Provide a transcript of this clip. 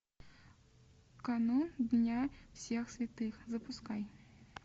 канун дня всех святых запускай